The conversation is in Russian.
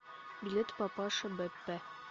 билет папаша беппе